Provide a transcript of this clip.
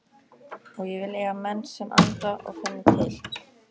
Og ég vil eiga menn sem anda og finna til.